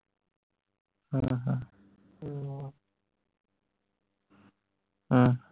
ਹਮ